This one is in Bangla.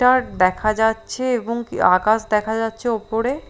তির দেখা যাচ্ছে এবং কি আকাশ দেখা যাচ্ছে ওপরে।